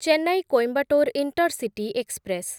Chennai Coimbatore intercity express